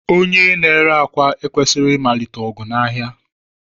Onye na-ere akwa ekwesịghị ịmalite ọgụ n'ahịa.